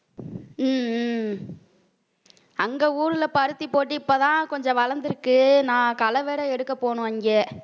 உம் உம் அங்க ஊர்ல பருத்தி போட்டு இப்பதான் கொஞ்சம் வளர்ந்திருக்கு நான் களை வேற எடுக்கப் போனோம் இங்க